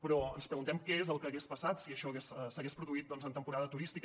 però ens preguntem què és el que hagués passat si això s’hagués produït en temporada turística